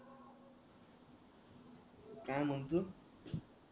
काय म्हणतो